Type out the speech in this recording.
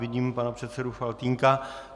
Vidím pana předsedu Faltýnka.